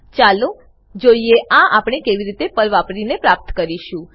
ચાલો જોઈએ આ આપણે કેવી રીતે પર્લ વાપરીને પ્રાપ્ત કરીશું